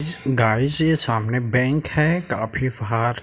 गाड़ी से सामने बैंक है काफी बाहर--